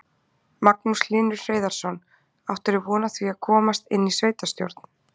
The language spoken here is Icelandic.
Magnús Hlynur Hreiðarsson: Áttirðu von á því að komast inn í sveitarstjórn?